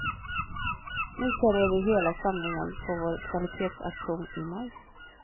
Nu säljer vi hela samlingen på vår kvalitetsauktion i maj.